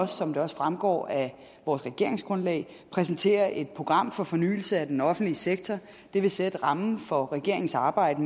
som det også fremgår af vores regeringsgrundlag præsentere et program for fornyelse af den offentlige sektor det vil sætte rammen for regeringens arbejde